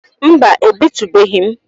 Mba ebitubeghi m